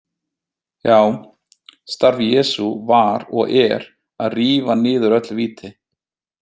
Já, starf Jesú var og er að rífa niður öll víti.